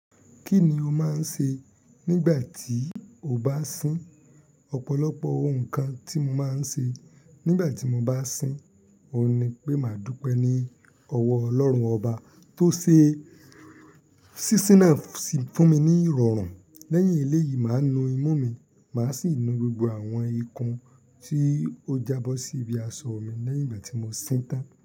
Kí ni o máa ń ṣe nígbà tí o bá sín? Ọ̀pọ̀lọpọ̀ ohun kan tí mo máa ń ṣe nígbà tí mo bá sín, òun ni pé màá dúpẹ́ ní ọwọ́ Ọlọ́run ọba tó ṣe sísín náà fún mi ní ìrọ̀rùn. Lẹ́yìn eléyìí, màá nu imú mi, màá sì nu gbogbo àwọn ikùn tí ó jabọ́ sí ibi aṣọ mi lẹ́yìn ìgbà tí mo sín tán.